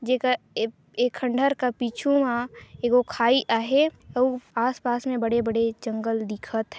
Jack एक खंडर का पिछू मा एको खाई आहे अउ आस-पास में बड़े बड़े जंगल दिकथ है।